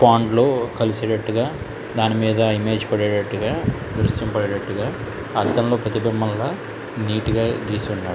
దానిలో కలిసేటట్టుగా దాని మీద ఇమేజ్ పడేటట్టుగా దృశ్యం పడేటట్టుగా అద్దంలో ప్రతిబింబంలా నీటుగా గీసుండాలి.